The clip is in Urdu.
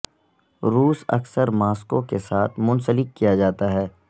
روس اکثر ماسکو کے ساتھ منسلک کیا جاتا ہے